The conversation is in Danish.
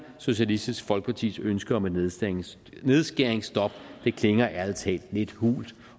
socialistisk folkepartis ønske om et nedskæringsstop nedskæringsstop klinger ærlig talt lidt hult